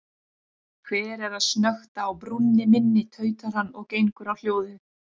Hver er að snökta á brúnni minni, tautar hann og gengur á hljóðið.